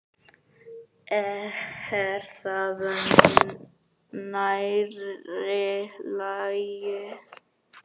Er það nærri lagi?